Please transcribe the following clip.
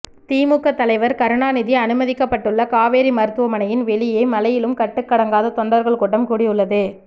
திமுக தலைவர் கருணாநிதி அனுமதிக்கப்பட்டுள்ள காவேரி மருத்துவமனையின் வெளியே மழையிலும் கட்டுக்கடங்காத தொண்டர்கள் கூட்டம் கூடியுள்ளது